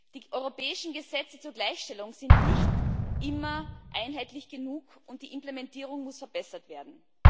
Die europäischen Gesetze zur Gleichstellung sind nicht immer einheitlich genug, und die Implementierung muss verbessert werden.